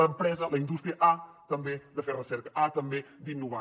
l’empresa la indústria ha també de fer recerca ha també d’innovar